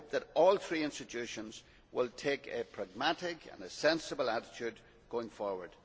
I hope that all three institutions will take a pragmatic and a sensible attitude going forward.